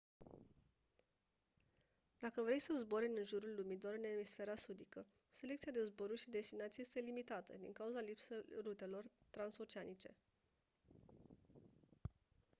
dacă vrei să zbori în jurul lumii doar în emisfera sudică selecția de zboruri și destinații este limitată din cauza lipsei rutelor transoceanice